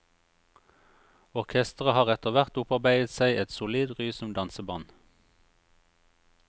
Orkesteret har etterhvert opparbeidet seg et solid ry som danseband.